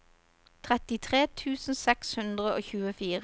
trettitre tusen seks hundre og tjuefire